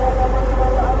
Həyyə ələl-fəlah.